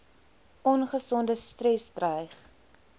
ongesonde stres dreig